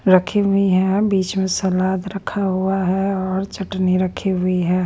रखी हुई है बीच में सलाद रखा हुआ है और चटनी रखी हुई है।